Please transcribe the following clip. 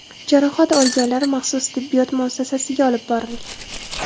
Jarohat olganlar maxsus tibbiyot muassasasiga olib borilgan.